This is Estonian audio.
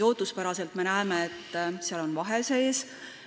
Ootuspäraselt me näeme, et seal on vahe sees.